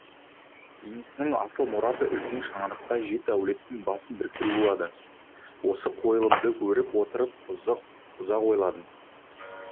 енесінің асыл мұраты үлкен шаңырақта жеті әулеттің басын біріктіру болады осы қойылымды көріп отырып ұзақ ойландым